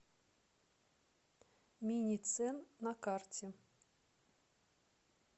миницен на карте